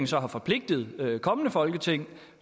så har forpligtet kommende folketingssamlinger